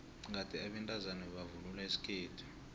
kade abantazana bebavvnula isikhethu